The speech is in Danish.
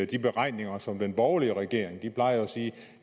de beregninger som af den borgerlige regering dengang de plejer at sige